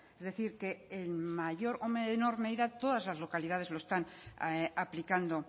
es decir el mayor todas las localidades lo están aplicando